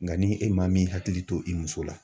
Nka ni e maa min hakili to i muso la